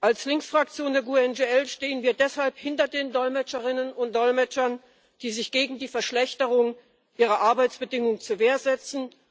Als Linksfraktion der GUE NGL stehen wir deshalb hinter den Dolmetscherinnen und Dolmetschern, die sich gegen die Verschlechterung ihrer Arbeitsbedingungen zur Wehr setzen.